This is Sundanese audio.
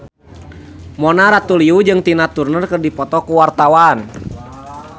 Mona Ratuliu jeung Tina Turner keur dipoto ku wartawan